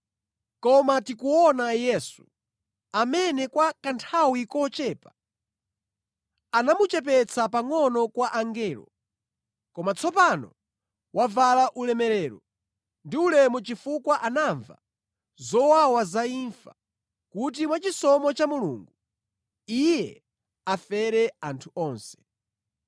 Koma tikuona Yesu, amene kwa kanthawi kochepa anamuchepetsa pangʼono kwa angelo, koma tsopano wavala ulemerero ndi ulemu chifukwa anamva zowawa za imfa, kuti mwachisomo cha Mulungu, Iye afere anthu onse.